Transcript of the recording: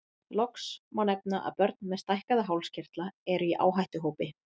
Loks má nefna að börn með stækkaða hálskirtla eru í áhættuhópi.